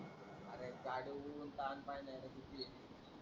अरे गाडी हुन किती आहे ते.